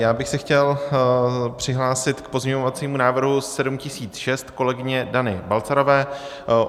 Já bych se chtěl přihlásit k pozměňovacímu návrhu 7006 kolegyně Dany Balcarové.